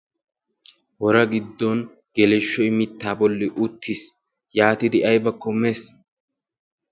Wora giddon qeleshoy mittaa bolli